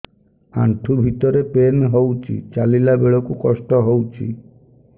ଆଣ୍ଠୁ ଭିତରେ ପେନ୍ ହଉଚି ଚାଲିଲା ବେଳକୁ କଷ୍ଟ ହଉଚି